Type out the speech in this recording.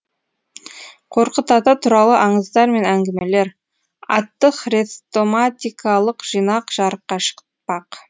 қорқыт ата туралы аңыздар мен әңгімелер атты хрестоматикалық жинақ жарыққа шықпақ